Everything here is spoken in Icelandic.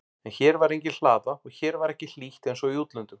En hér var engin hlaða og hér var ekki hlýtt einsog í útlöndum.